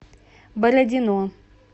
бородино